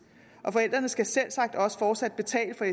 og forældrene skal selvsagt også fortsat betale for